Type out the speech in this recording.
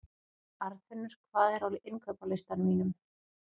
Arnfinnur, hvað er á innkaupalistanum mínum?